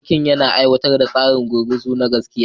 Sarki yana aiwatar da tsarin gurguzu na gaskiya